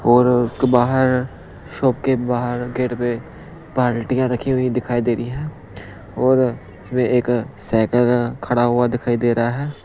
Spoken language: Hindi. और उसके बाहर शॉप के बाहर गेट पे बाल्टियां रखी हुई दिखाई दे रही हैं और इसमें एक साइकल खड़ा हुआ दिखाई दे रहा है।